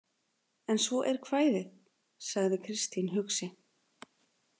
En svo er kvæðið, sagði Kristín hugsi.